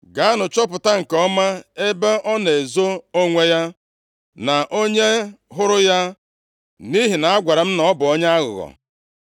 Gaanụ chọpụta nke ọma ebe ọ na-ezo onwe ya, na onye hụrụ ya, nʼihi na agwara m na ọ bụ onye aghụghọ.